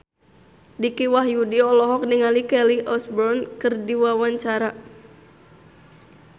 Dicky Wahyudi olohok ningali Kelly Osbourne keur diwawancara